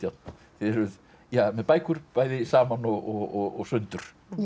þið eruð með bækur bæði saman og sundur